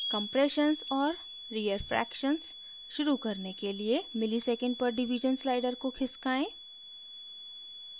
compressions और rearfractions शुरू करने के लिए msec/div slider को खिसकाएँ